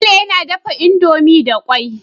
Bello yAna dafa indomie da kwai